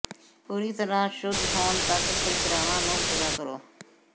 ਪੂਰੀ ਤਰ੍ਹਾਂ ਸ਼ੁੱਧ ਹੋਣ ਤਕ ਪ੍ਰਕ੍ਰਿਆਵਾਂ ਨੂੰ ਪੂਰਾ ਕਰੋ